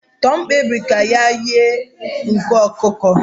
Tom kpebiri ka ya ighe nku ọkụkọ